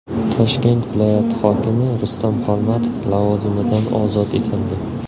Toshkent viloyati hokimi Rustam Xolmatov lavozimidan ozod etildi.